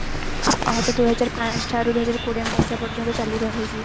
ଏହା ତ ଦୁଇ ହଜାର ପାଞ୍ଚ ଠାରୁ ଦୁଇ ହଜାର କୋଡିଏ ମସିହା ପର୍ଯ୍ୟନ୍ତ ଚାଲୁ ରହିଚି